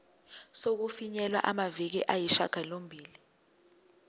sokufinyelela kumaviki ayisishagalombili